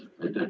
Aitäh!